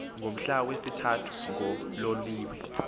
ngomhla wesithathu ngololiwe